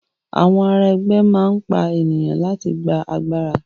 Àwọn ará ẹgbẹ́ máa n pa ènìyàn láti gbà agbára.